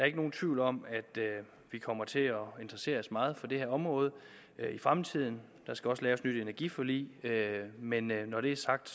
ikke nogen tvivl om at vi kommer til at interessere os meget for det her område i fremtiden der skal også laves et nyt energiforlig men når det er sagt